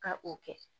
Ka o kɛ